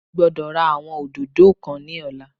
Mo gbódò ra àwọn òdòdó kan ní ọ̀la